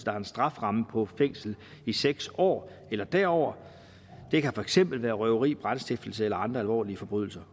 har en strafferamme på fængsel i seks år eller derover det kan for eksempel være røveri brandstiftelse eller andre alvorlige forbrydelser